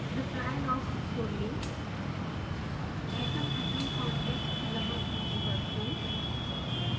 reply log खोलें atomatom contacts यहाँ सूचीबद्ध हैं